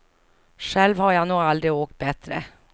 Själv har jag nog aldrig åkt bättre.